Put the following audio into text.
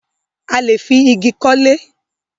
A lè fi igi kọ́lé.